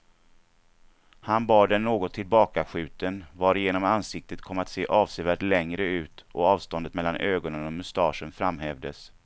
Han bar den något tillbakaskjuten, varigenom ansiktet kom att se avsevärt längre ut och avståndet mellan ögonen och mustaschen framhävdes.